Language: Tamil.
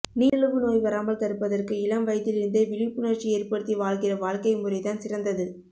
நீரிழிவு நோய் வராமல் தடுப்பதற்கு இளம் வயதிலிருந்தே விழிப்புணர்ச்சி ஏற்படுத்தி வாழ்கிற வாழ்க்கை முறைதான் சிறந்தது